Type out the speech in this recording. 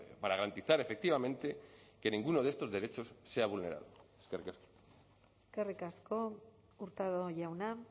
para garantizar efectivamente que ninguno de estos derechos sea vulnerado eskerrik asko eskerrik asko hurtado jauna